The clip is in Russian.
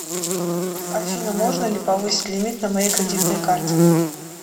афина можно ли повысить лимит на моей кредитной карте